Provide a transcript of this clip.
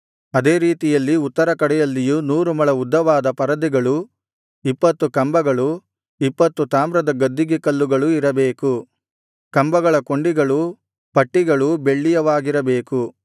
ಅದೇ ರೀತಿಯಲ್ಲಿ ಉತ್ತರ ಕಡೆಯಲ್ಲಿಯೂ ನೂರು ಮೊಳ ಉದ್ದವಾದ ಪರದೆಗಳೂ ಇಪ್ಪತ್ತು ಕಂಬಗಳು ಇಪ್ಪತ್ತು ತಾಮ್ರದ ಗದ್ದಿಗೆ ಕಲ್ಲುಗಳು ಇರಬೇಕು ಕಂಬಗಳ ಕೊಂಡಿಗಳೂ ಪಟ್ಟಿಗಳೂ ಬೆಳ್ಳಿಯವಾಗಿರಬೇಕು